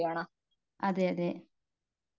അതെയതെ